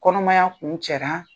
Kɔnɔmaya kun cɛra.